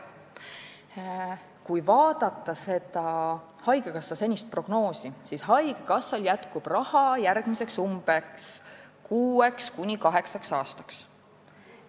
Kui vaadata haigekassa senist prognoosi, siis on näha, et haigekassal jätkub raha umbes järgmiseks kuueks kuni kaheksaks aastaks.